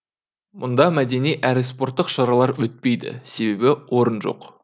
мұнда мәдени әрі спорттық шаралар өтпейді себебі орын жоқ